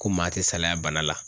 Ko maa tɛ salaya bana la